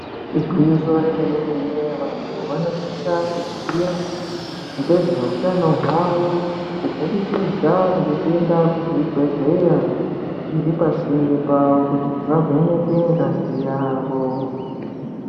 Igwinyiso remenemene vanthu vanosisa kuziya ngezveutano hwao kubudikidza ngekuenda kuzvibhedhleya zviri pasinte pavo kuti vavhenekwe ngazi yavo.